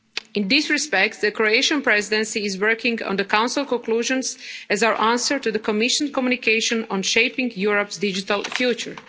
In this respect, the Croatian Presidency is working on the Council conclusions as our answer to the Commission communication on shaping Europe's digital future.